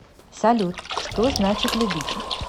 салют что значит любить